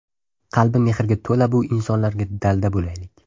Qalbi mehrga to‘la bu insonlarga dalda bo‘laylik.